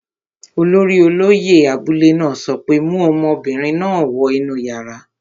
Olórí olóyẹ̀ abúlé náà sọ pé, 'mu ọmọbìnrin náà wọ inú yàrá!